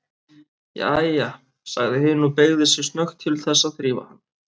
Jæja, sagði hin og beygði sig snöggt til þess að þrífa hann.